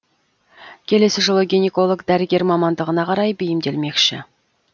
келесі жылы гинеколог дәрігер мамандығына қарай бейімделмекші